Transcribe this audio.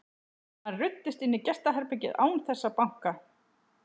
Hann ruddist inn í gestaherbergið án þess að banka.